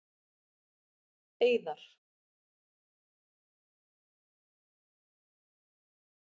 Eiðar